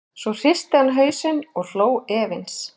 Svo hristi hann hausinn og hló efins.